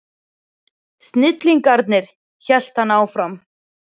Snillingarnir, hélt hann áfram.